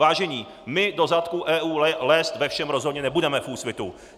Vážení, my do zadku EU lézt ve všem rozhodně nebudeme v Úsvitu!